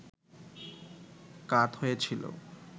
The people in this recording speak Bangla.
কাত হয়ে ছিল